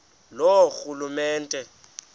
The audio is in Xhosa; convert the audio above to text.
loorhulumente